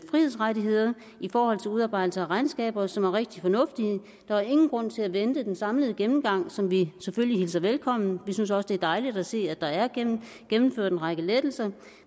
frihedsrettigheder i forhold til udarbejdelse af regnskaber som er rigtig fornuftige der er ingen grund til at vente på den samlede gennemgang som vi hilser velkommen vi synes også det er dejligt at se at der er gennemført en række lettelser